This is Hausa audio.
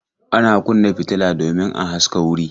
Ana kunna fitila domin a haska wuri.